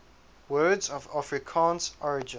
words of afrikaans origin